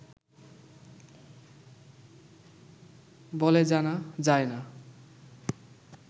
বলে জানা যায় না